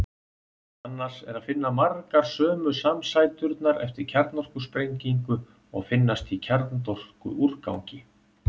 Annars er að finna margar sömu samsæturnar eftir kjarnorkusprengingu og finnast í kjarnorkuúrgangi.